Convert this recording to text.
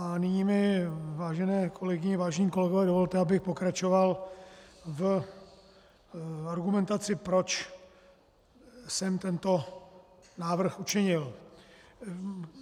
A nyní mi, vážené kolegyně, vážení kolegové, dovolte, abych pokračoval v argumentaci, proč jsem tento návrh učinil.